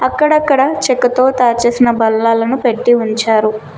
అక్కడక్కడ చెక్కతో తయారు చేసిన బల్లాలను పెట్టీ ఉంచారు.